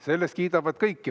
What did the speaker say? Selle eest kiidavad kõik.